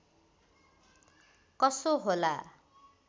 कसो होला